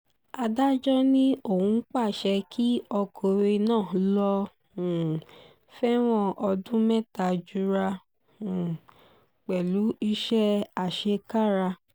adájọ́ ni òun pàṣẹ kí ọkùnrin náà lọ́ọ́ um fẹ̀wọ̀n ọdún mẹ́ta jura um pẹ̀lú iṣẹ́ àṣekára